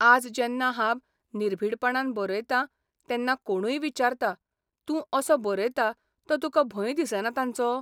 आज जेन्ना हांब निर्भिडपणान बरयतां तेन्ना कोणूय विचारता, तूं असो बरयता तो तुका भंय दिसना तांचो?